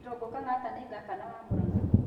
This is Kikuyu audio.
Irungu Kang'ata nĩ ngabana wa Murang'a.